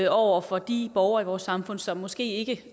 over for de borgere i vores samfund som måske ikke